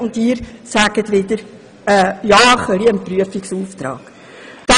Und Sie wollen nur einem Prüfungsauftrag zustimmen.